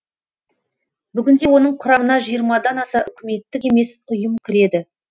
бүгінде оның құрамына жиырмадан аса үкіметтік емес ұйым кіреді